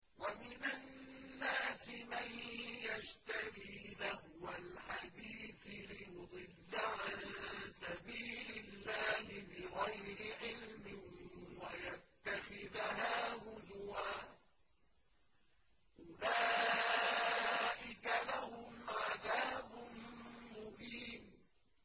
وَمِنَ النَّاسِ مَن يَشْتَرِي لَهْوَ الْحَدِيثِ لِيُضِلَّ عَن سَبِيلِ اللَّهِ بِغَيْرِ عِلْمٍ وَيَتَّخِذَهَا هُزُوًا ۚ أُولَٰئِكَ لَهُمْ عَذَابٌ مُّهِينٌ